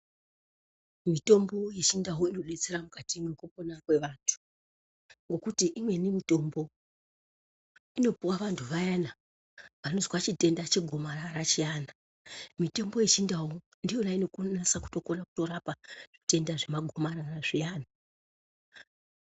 Mitombo yechindau inodetsera mukati mwekupona kwevantu ngokuti imweni mitombo inopuwe antu vayana anozwa chitenda chegomarara chiyana, mitombo yechindau ndiyona inonase kutorapa zvitenda zvemagomarara zviyani.